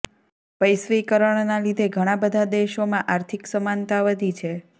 વૈશ્વિકરણના લીધે ઘણાં બધા દેશોમાં આર્થિક સમાનતા વધી છે